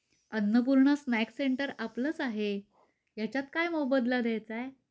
Annapurna snacks centre आपलच आहे. यांच्यात काय मोबदला द्यायचा आहे.